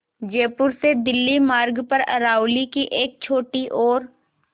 जयपुर से दिल्ली मार्ग पर अरावली की एक छोटी और